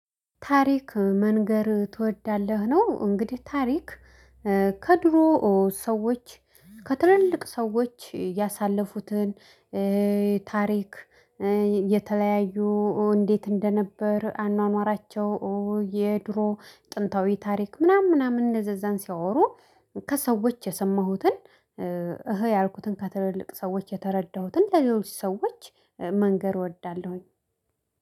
ታሪክ መንገር ትወዳለህ ነው እንግዲህ ታሪክ ከድሮ ሰዎች ከትልልቅ ሰዎች ያሳለፉትን ታሪክ የተለያዩ እንዴት? እንደነበር አኗኗራቸው የድሮ ጥንታዊ ታሪክ ምናምን ምናምን እንደዛ እንደዛን ሲያወሩ። ከሰዎች የሰማሁትን። እህ ያልኩትን ከትልልቅ ሰዎች የተረዳሁትን ለሌሎች ሰዎች መንገር እወዳለሁኝ